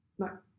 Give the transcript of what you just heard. Nej